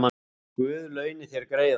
Guð launi þér greiðann